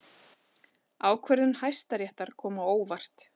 Ákvörðun Hæstaréttar kom á óvart